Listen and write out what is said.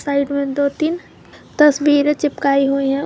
Side मे दो तीन तस्वीरे चिपकाई हुई है।